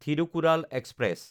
Thirukkural express